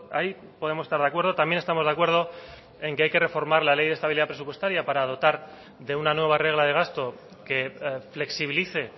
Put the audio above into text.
ahí podemos estar de acuerdo también estamos de acuerdo en que hay que reformar la ley de estabilidad presupuestaria para dotar de una nueva regla de gasto que flexibilice